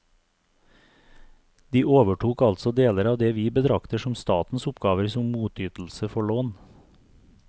De overtok altså deler av det vi betrakter som statens oppgaver som motytelse for lån.